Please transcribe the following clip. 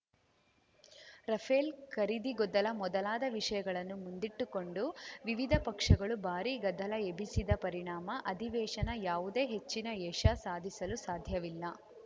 Rafale ಖರೀದಿ ಗೊದ್ದಲ ಮೊದಲಾದ ವಿಷಯಗಳನ್ನು ಮುಂದಿಟ್ಟುಕೊಂಡು ವಿವಿಧ ಪಕ್ಷಗಳು ಭಾರೀ ಗದ್ದಲ ಎಬ್ಬಿಸಿದ ಪರಿಣಾಮ ಅಧಿವೇಶನ ಯಾವುದೇ ಹೆಚ್ಚಿನ ಯಶ ಸಾಧಿಸಲು ಸಾಧ್ಯವಿಲ್ಲ